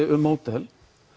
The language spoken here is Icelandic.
um módel